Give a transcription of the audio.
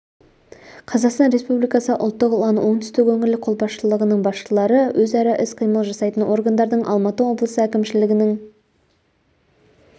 қазақстан республикасы ұлттық ұлан оңтүстік өңірлік қолбасшылығының басшылары өзара іс-қимыл жасайтын органдардың алматы облысы әкімшілігінің